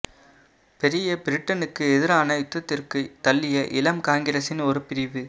பெரிய பிரிட்டனுக்கு எதிரான யுத்தத்திற்கு தள்ளிய இளம் காங்கிரஸின் ஒரு பிரிவு